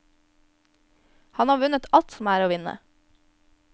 Han har vunnet alt som er å vinne.